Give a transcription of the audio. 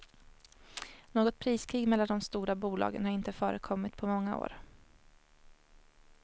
Något priskrig mellan de stora bolagen har inte förekommit på många år.